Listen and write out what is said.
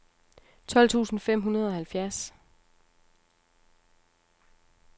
tolv tusind fem hundrede og halvfjerds